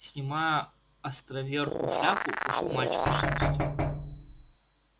снимая островерхую шляпу вошёл мальчик лет шестнадцати